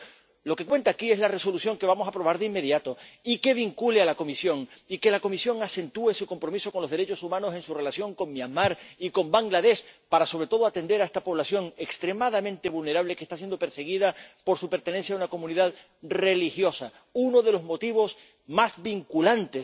Por tanto, lo que cuenta aquí es la Resolución que vamos a aprobar de inmediato, y que vincule a la Comisión y que la Comisión acentúe su compromiso con los derechos humanos en su relación con Myanmar y con Bangladés, para, sobre todo, atender a esta población extremadamente vulnerable, que está siendo perseguida por su pertenencia a una comunidad religiosa, uno de los motivos más vinculantes